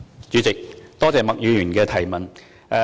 主席，多謝麥議員的提問。